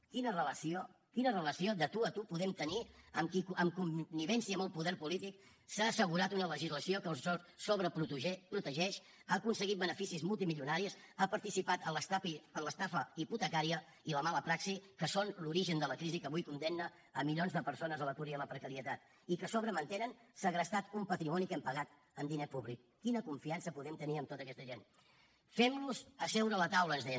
quina relació quina relació de tu a tu podem tenir amb qui en connivència amb el poder polític s’ha assegurat una legislació que els sobreprotegeix ha aconseguit beneficis multimilionaris ha participat en l’estafa hipotecària i la mala praxi que són l’origen de la crisi que avui condemna milions de persones a l’atur i la precarietat i que a sobre mantenen segrestat un patrimoni que hem pagat amb diner públic quina confiança podem tenir en tota aquesta gent fem los seure a la taula ens deien